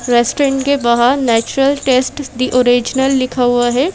Restaurant के बाहर natural taste the original लिखा हुआ है।